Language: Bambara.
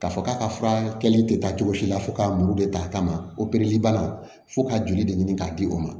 K'a fɔ k'a ka fura kɛlen tɛ taa cogo si la fo k'a muru de ta a kama bana fo ka joli de ɲini k'a di o ma